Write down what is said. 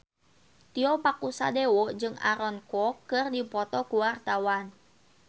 Tio Pakusadewo jeung Aaron Kwok keur dipoto ku wartawan